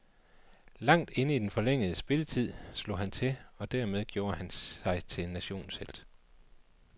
Langt inde i den forlængede spilletid, slog han til og dermed gjorde han sig til nationens helt.